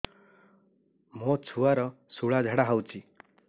ମୋ ଛୁଆର ସୁଳା ଝାଡ଼ା ହଉଚି